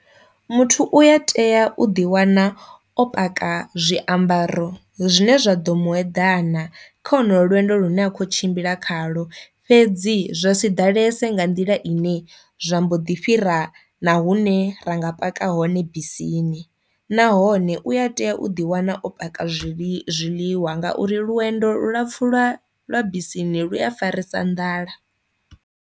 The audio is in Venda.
Muthu u ya tea u ḓi wana o paka zwiambaro zwine zwa ḓo mueḓane kha honolo lwendo lune a kho tshimbila khalo fhedzi zwa si ḓalese nga nḓila ine zwa mbo ḓi fhira na hune ra nga paka hone bisini, nahone u a tea u ḓi wana o paka zwi zwiḽiwa nga uri lwendo lu lapfu lwa lwa bisini lu a farisa nḓala.